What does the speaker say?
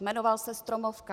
Jmenoval se Stromovka.